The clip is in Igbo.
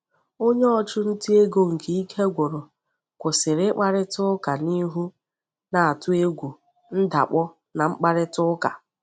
Onye ọchụnta ego nke ike gwụrụ kwụsịrị ịkparịta ụka n'ihu, na-atụ egwu ndakpọ na mkparịta ụka.